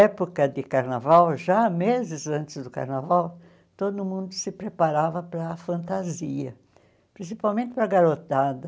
Época de carnaval, já meses antes do carnaval, todo mundo se preparava para a fantasia, principalmente para a garotada.